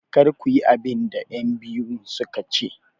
Kar ku yi abin da 'yanbiyun su ka ce!